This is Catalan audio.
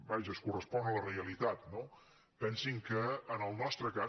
vaja es correspon amb la realitat no pensin que en el nostre cas